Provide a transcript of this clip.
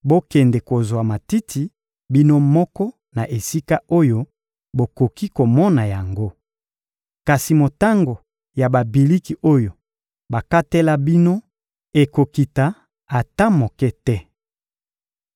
Bokende kozwa matiti bino moko na esika oyo bokoki komona yango! Kasi motango ya babiliki oyo bakatela bino ekokita ata moke te.»